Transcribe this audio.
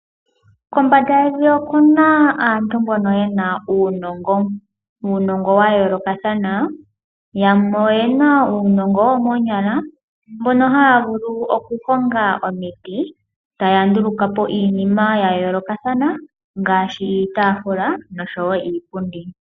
Kombanda yevi oku na aantu mbono ye na uunongo, uunongo wa yoolokathana, yamwe oye na uunongo womoonyala mono haya vulu okukonga omiti, taya nduuluka po iinima ya yoolokathana ngaashi iitaafula nosho woo iipundi.